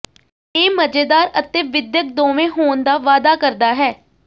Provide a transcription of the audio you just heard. ਇਹ ਮਜ਼ੇਦਾਰ ਅਤੇ ਵਿਦਿਅਕ ਦੋਵੇਂ ਹੋਣ ਦਾ ਵਾਅਦਾ ਕਰਦਾ ਹੈ